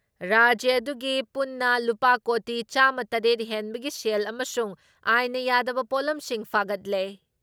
ꯔꯥꯖ꯭ꯌ ꯑꯗꯨꯒꯤ ꯄꯨꯟꯅ ꯂꯨꯄꯥ ꯀꯣꯇꯤ ꯆꯥꯃ ꯇꯔꯦꯠ ꯍꯦꯟꯕꯒꯤ ꯁꯦꯜ ꯑꯃꯁꯨꯡ ꯑꯥꯏꯟꯅ ꯌꯥꯗꯕ ꯄꯣꯠꯂꯝꯁꯤꯡ ꯐꯥꯒꯠꯂꯦ ꯫